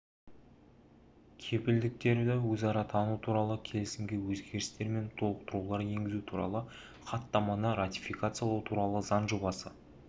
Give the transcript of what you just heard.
кепілдіктерді өзара тану туралы келісімге өзгерістер мен толықтырулар енгізу туралы хаттаманы ратификациялау туралы заң жобасы